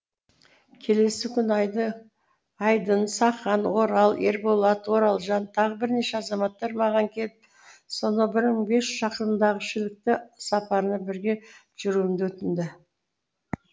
келесі күні айдын сақан орал ерболат оралжан тағы бірнеше азаматтар маған келіп сонау бір мың бес жүз шақырымдағы шілікті сапарына бірге жүруімді өтінді